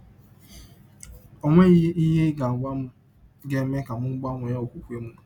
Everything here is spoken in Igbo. Ọ nweghị ihe ị ga - agwa m ga - eme ka m gbanwee ọkpụkpe m.